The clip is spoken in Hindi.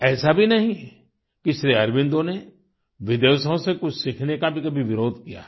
ऐसा भी नहीं कि श्री अरबिंदों ने विदेशों से कुछ सीखने का भी कभी विरोध किया हो